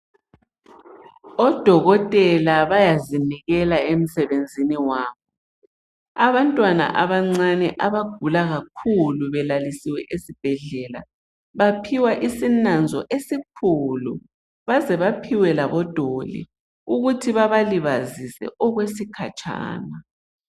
Odokotela bayazinikela emsebenzini wabo. Abantwana abancane abagula kakhulu belalisiwe esibhedlela, baphiwa isinanzo esikhulu, baze baphiwe labo doli, ukuthi babalibazise okwesikhatshana